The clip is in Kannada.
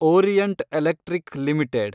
orient Electric limited